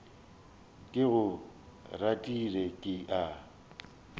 ke go ratile ke a